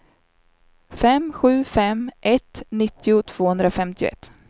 fem sju fem ett nittio tvåhundrafemtioett